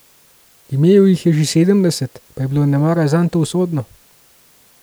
Imel jih je čez sedemdeset, pa je bilo nemara zanj to usodno.